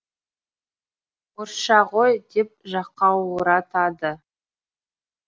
орысша ғой деп жақауратады